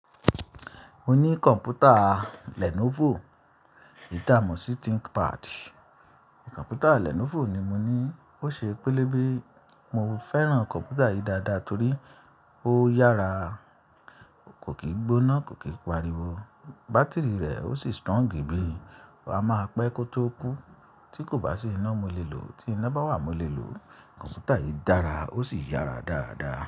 Mo ní kọ̀npútà Lenovo, eyi ta mo ṣí Thinkpad. Kọ́npútà Lenovo ni mo ní, ó ṣe pelebe Mo fẹ́ràn kọ̀npútà yìí dáadáa torí ó yára, kò kí gbóná, kò kí pariwo, bátìrì rẹ̀ ó sì strong bí, a máa pẹ́ kó tó kú. Tí kò bá sí iná mo le lò o, tí iná bá wà mo le lò o. Kọ̀npútà yìí dára ó sì yára dáadáa.